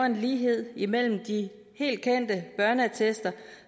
en lighed mellem de helt kendte børneattester